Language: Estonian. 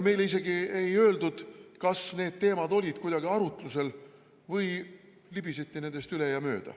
Meile isegi ei öeldud, kas need teemad olid arutlusel või libiseti nendest üle.